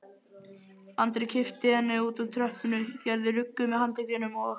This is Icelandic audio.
Andri kippti henni úr tröppunni, gerði ruggu með handleggjunum og